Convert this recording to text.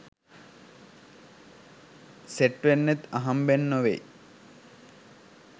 set වෙන්නෙත් අහම්ම්බෙන් නොවේයි